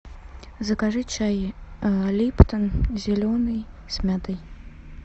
закажи чай липтон зеленый с мятой